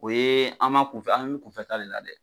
O ye an m'an kunfɛ an mi kunfɛ taa de la dɛ